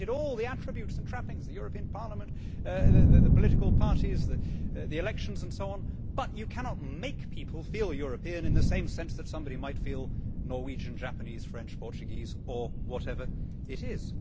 We have created all the attributes and trappings the European Parliament, the political parties, the elections and so on, but you cannot make people feel European in the same sense that somebody might feel Norwegian, Japanese, French, Portuguese or whatever it is.